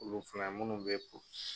Olu filan ye munnu bɛ po